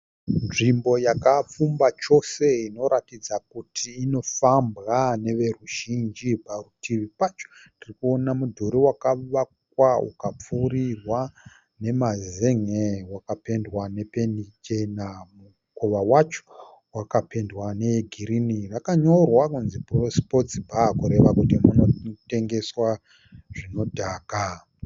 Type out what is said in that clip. Nzvimbo yakapfumba chose inoratidza kuti inofambwa neveruzhinji. Parutivi pacho tirikuona mudhuri wakavakwa ukapfurirwa nemazenge. Wakapendwa nependi chena. Mukova wacho wakapendwa negirinhi. Wakanyorwa kunzi Sports bar kureva kuti munotengeswa zvinodhaka.